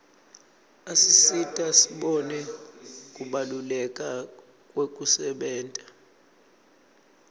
asisita sibone kubaluleka kwekusebenta